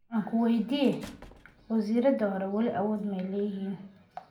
Ankuweydiyex, waziradhi xore wali awodh maayleyihin?